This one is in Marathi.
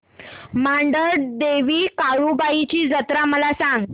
मांढरदेवी काळुबाई ची जत्रा मला सांग